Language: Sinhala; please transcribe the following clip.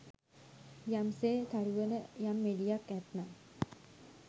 යම් සේ තරුවල යම් එළියක් ඇත්නම්